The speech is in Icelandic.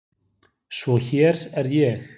Svo hér er ég.